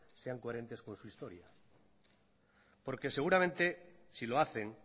sean coherentes con su historia porque seguramente si lo hacen